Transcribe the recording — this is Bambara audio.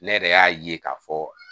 Ne yɛrɛ y'a ye k'a fɔ